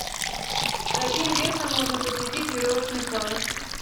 с каким весом можно посетить веревочный парк